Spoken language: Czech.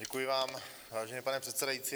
Děkuji vám, vážený pane předsedající.